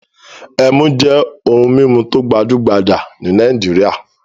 Ẹmu jẹ́ ohun-mímu tó gbajú-gbajà ní Nàìjíríà.